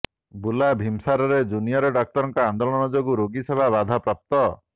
ବୁର୍ଲା ଭିମସାରରେ ଜୁନିୟର ଡାକ୍ତରଙ୍କ ଆନ୍ଦୋଳନ ଯୋଗୁଁ ରୋଗୀ ସେବା ବାଧାପ୍ରାପ୍ତ